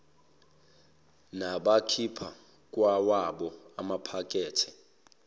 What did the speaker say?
nabakhipha kwawabo amaphakethe